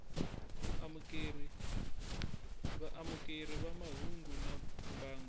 vaamukeri va mahungu na mbangu